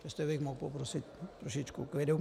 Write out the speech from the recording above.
Jestli bych mohl poprosit trošku klidu...